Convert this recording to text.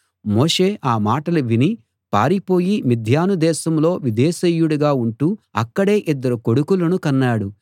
మోషే ఆ మాట విని పారిపోయి మిద్యాను దేశంలో విదేశీయుడుగా ఉంటూ అక్కడే ఇద్దరు కొడుకులను కన్నాడు